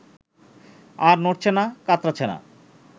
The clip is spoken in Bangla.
আর নড়ছে না, কাতরাচ্ছে না